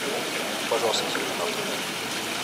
найди пожалуйста терминатор